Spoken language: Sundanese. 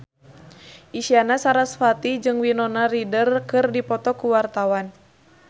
Isyana Sarasvati jeung Winona Ryder keur dipoto ku wartawan